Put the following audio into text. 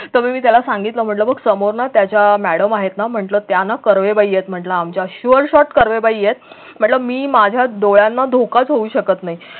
तर मी त्याला सांगितलं म्हटलं बघ समोर ना त्या ज्या मॅडम आहेत ना म्हटलं त्या ना कर्वे बाई आहेत म्हटलं आमच्या कर्वे बाई आहेत म्हटलं मी माझ्या डोळ्यांना धोकाच होऊ शकत नाही.